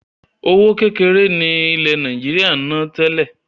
Owó ókéré ni ilẹ̀ Nàìjíríà ń ná tẹ́lẹ̀